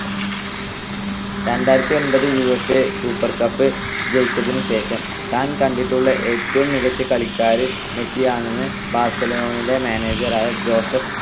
രണ്ടായിരത്തിഒൻപത് UEFA super cup ജയിച്ചതിനു ശേഷം, താൻ കണ്ടിട്ടുള്ള ഏറ്റവും മികച്ച കളിക്കാരൻ മെസ്സിയാണെന്ന് ബാർസലോണയുടെ manager ആയ ജോസഫ്